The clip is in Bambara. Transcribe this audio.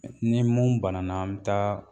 ni mun banana an bɛ taa